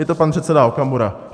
Je to pan předseda Okamura.